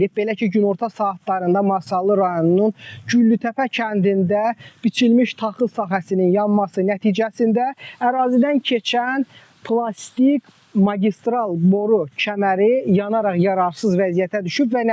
Belə ki, günorta saatlarında Masallı rayonunun Güllütəpə kəndində biçilmiş taxıl sahəsinin yanması nəticəsində ərazidən keçən plastik magistral boru kəməri yanaraq yararsız vəziyyətə düşüb.